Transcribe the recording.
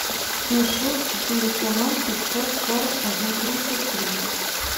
плюс шесть четыреста ноль пятьсот сорок один тридцать тридцать